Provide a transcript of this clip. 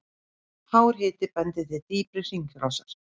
Hár hiti bendir til dýpri hringrásar.